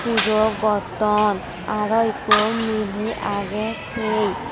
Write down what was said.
pujo goton aro ekko miley agey tey.